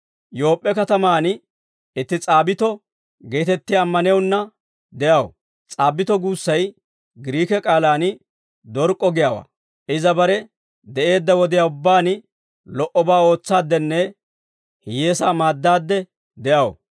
Yoop'p'e katamaan itti S'aabbito geetettiyaa ammanewunna de'aw; S'aabbito guussay Giriike k'aalaan Dork'k'o giyaawaa. Iza bare de'eedda wodiyaa ubbaan lo"obaa ootsaaddenne hiyyeesaa maaddaadde de'aw.